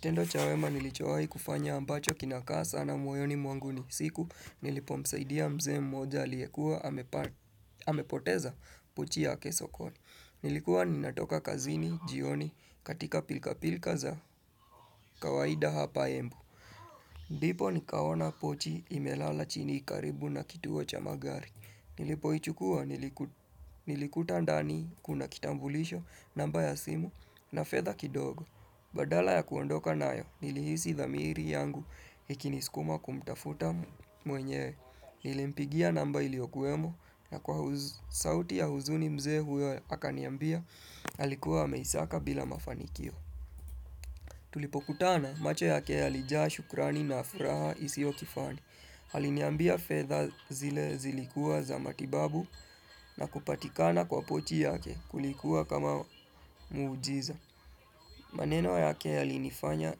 Tendo cha wema nilichowahi kufanya ambacho kinakaa sana moyoni mwangu ni siku nilipo msaidia mzee mmoja aliyekua amepoteza pochi yake sokoni. Nilikuwa ninatoka kazini jioni katika pilka pilka za kawaida hapa embu. Ndipo nikaona pochi imelala chini karibu na kituo cha magari. Nilipoichukua nilikuta ndani kuna kitambulisho namba ya simu na fedha kidogo. Badala ya kuondoka nayo nilihisi dhamiri yangu ikinisikuma kumtafuta mwenyewe nilimpigia namba iliyokuemo na kwa sauti ya huzuni mzee huyo akaniambia alikuwa ameisaka bila mafanikio. Tulipokutana macho yake yalijaa shukrani na furaha isiyo kifani. Aliniambia fedha zile zilikua za matibabu na kupatikana kwa pochi yake kulikuwa kama miujiza. Maneno yake yalinifanya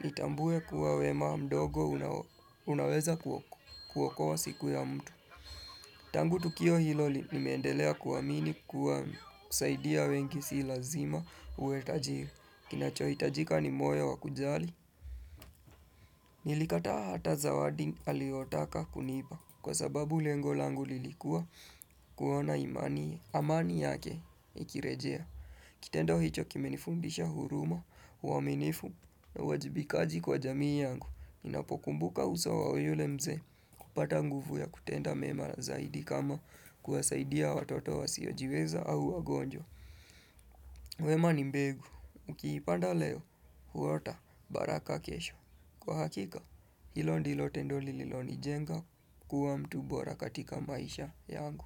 nitambue kuwa wema mdogo unaweza kuokoa siku ya mtu. Tangu tukio hilo nimendelea kuamini kuwa kusaidia wengi si lazima uwe tajiri. Kinachohitajika ni moyo wa kujali. Nilikataa hata zawadi aliyotaka kunipa. Kwa sababu lengo langu lilikuwa kuona imani amani yake ikirejea. Kitendo hicho kimenifundisha huruma, uwaminifu na uwajibikaji kwa jamii yangu, ninapokumbuka uso wa yule mzee kupata nguvu ya kutenda mema zaidi kama kuwasaidia watoto wasiojiweza au wagonjwa. Wema ni mbegu, ukiipanda leo, huota baraka kesho. Kwa hakika, hilo ndilo tendo lililonijenga kuwa mtu bora katika maisha yangu.